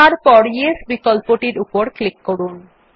তারপর য়েস বিকল্পর উপর ক্লিক করুন